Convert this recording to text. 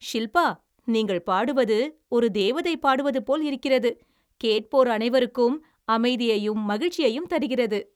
ஷில்பா, நீங்கள் பாடுவது ஒரு தேவதை பாடுவது போல் இருக்கிறது. கேட்போர் அனைவருக்கும் அமைதியையும் மகிழ்ச்சியையும் தருகிறது.